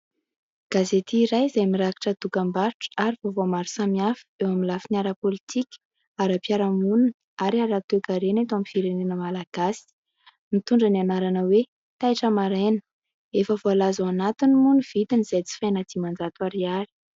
Gazety iray izay mirakitra dokam-barotra ary vaovao maro samihafa eo amin'ny lafiny ara-pôlitika, ara-piaraha monina ary ara-toe-karena eto @ firenena Malagasy mitondra ny anarana hoe <<Taitra maraina>>, efa voalaza ao anatiny moa ny vidiny izay jifaina diman-jato ariary.